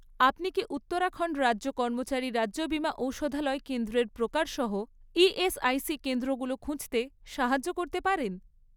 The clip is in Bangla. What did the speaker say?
আপনি কি উত্তরাখণ্ড রাজ্যে কর্মচারী রাজ্য বিমা ঔষধালয় কেন্দ্রের প্রকার সহ ইএসআইসি কেন্দ্রগুলো খুঁজতে সাহায্য করতে পারেন?